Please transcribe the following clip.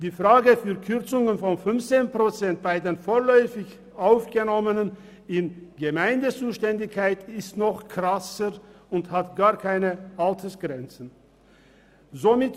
Die Frage der Kürzung um 15 Prozent bei den vorläufig Aufgenommenen in Gemeindezuständigkeit ist noch krasser und ist an gar keine Altersgrenzen gebunden.